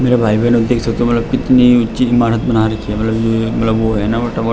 मेरे भाई - बेहेन कितनी ऊँची ईमारत बना रखी है मतलब ये मतलब वो है ना --